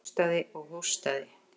Hóstaði og hóstaði.